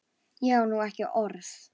Ég á nú ekki orð!